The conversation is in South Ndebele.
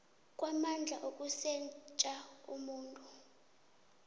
kwamandla ukusetjha umuntu